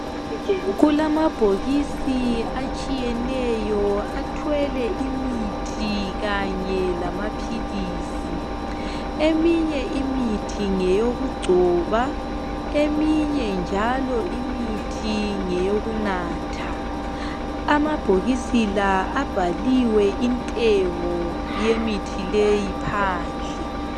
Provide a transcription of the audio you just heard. Kulamabhokisi atshiyeneyo athwele imithi kanye lamaphilisi eminye imithi ngeyokugcoba eminye njalo imithi ngeyokunatha amabhokisi la abhaliwe intengo yemithi leyi phandle